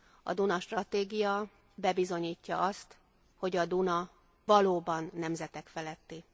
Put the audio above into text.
A Duna stratégia bebizonyítja azt, hogy a Duna valóban nemzetek feletti.